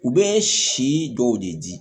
U bɛ si dɔw de di